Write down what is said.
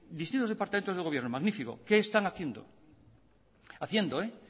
distintos departamentos del gobierno magnífico qué están haciendo haciendo